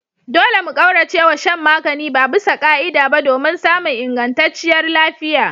Dole mu kauracewa shan magani babisa ka'ida ba domin samun ingantacciyar lafiya.